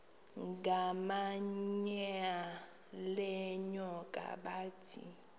ngamanyal enyoka bathi